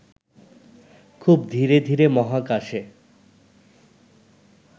খুব ধীরে ধীরে মহাকাশে